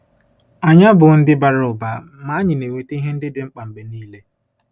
Anyị abụghị ndị bara ụba, ma anyị na-enweta ihe ndị dị mkpa mgbe niile.